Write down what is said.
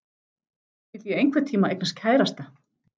Skyldi ég einhvern tíma eignast kærasta?